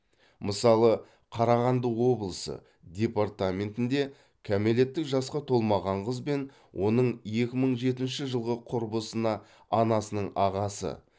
мысалы қарағанды облысы департаментінде кәмелеттік жасқа толмаған қыз бен оның екі мың жетінші жылғы құрбысына анасының ағасы